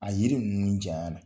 A yiri ninnu janya na